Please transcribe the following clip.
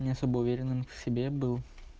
не особо уверенным в себе был